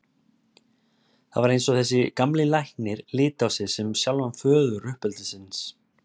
Það var eins og þessi gamli læknir liti á sig sem sjálfan föður uppeldisins.